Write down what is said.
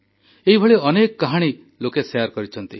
ଏଭଳି ଅନେକ କାହାଣୀ ଲୋକେ ଶେୟାର କରିଛନ୍ତି